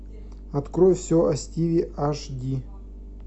открой все о стиве аш ди